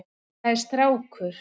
Það er strákur.